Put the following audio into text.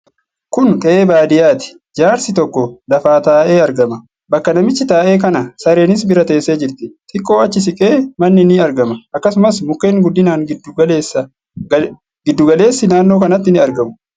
Kun qe'ee baadiyyaati. Jaarsi tokko lafa taa'ee argama. Bakka namichi taa'e kana sareenis bira teessee jirti. Xiqqoo achi siqee Manni ni argama. Akkasumas mukkeen guddinaan giddu galeessi naannoo kanatti ni argamu.